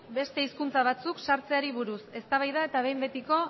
beste hizkuntza batzuk sartzeari buruz eztabaida eta behin betiko